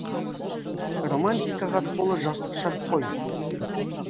романтикаға толы жастық шақ қой